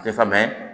Tɛ falen